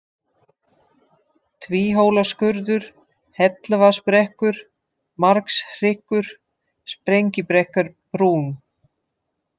Tvíhólaskurður, Helluvaðsbrekkur, Markshryggur, Sprengibrekkurbrún